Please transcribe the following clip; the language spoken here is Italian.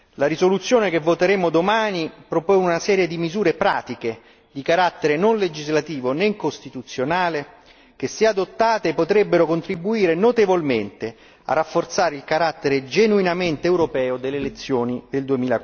La risoluzione che voteremo domani propone una serie di misure pratiche di carattere non legislativo né costituzionale che, se adottate, potrebbero contribuire notevolmente a rafforzare il carattere genuinamente europeo delle elezioni del